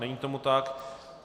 Není tomu tak.